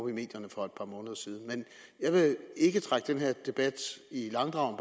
i medierne for par måneder siden jeg vil ikke trække den her debat i langdrag